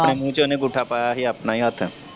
ਆਪਣੇ ਮੂੰਹ ਚ ਓਹਨੇ ਅੰਗੂਠਾ ਪਾਇਆ ਸੀ ਆਪਣਾ ਹੀ ਹੱਥ।